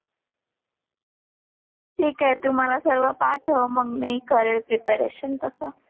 ठीक आहे तू मला सर्व पाठव मग मी करेन प्रिपरेशन तसा.